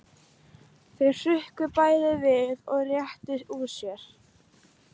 Þau hrukku bæði við og réttu úr sér.